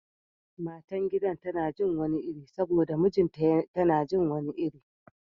Matan gidan tana jin wani iri saboda mijinta tana jin wani iri